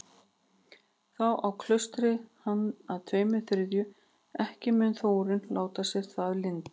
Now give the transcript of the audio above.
Þá á klaustrið hann að tveimur þriðju, ekki mun Þórunn láta sér það lynda.